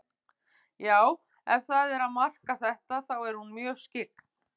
Já, ef það er að marka þetta, þá er hún mjög skyggn.